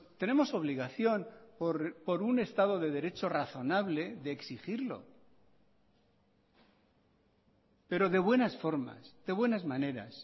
tenemos obligación por un estado de derecho razonable de exigirlo pero de buenas formas de buenas maneras